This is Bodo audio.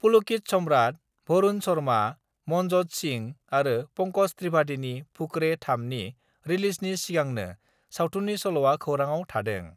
पुलकिल सम्राट भरुन शर्मा, मनज'त सिं आरो पंकज त्रिपाठिनि फुकरे-3 नि रिलिजनि सिगांनो सावथुननि सल'आ खौराङाव थादों।